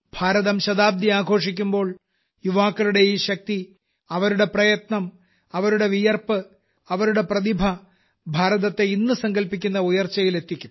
ഭാരതം ശതാബ്ധി ആഘോഷിക്കുമ്പോൾ യുവാക്കളുടെ ഈ ശക്തി അവരുടെ പ്രയത്നം അവരുടെ വിയർപ്പ് അവരുടെ പ്രതിഭ ഭാരതത്തെ ഇന്നു സങ്കൽപ്പിക്കുന്ന ഉയർച്ചയിൽ എത്തിക്കും